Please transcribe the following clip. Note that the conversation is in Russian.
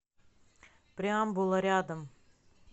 преамбула рядом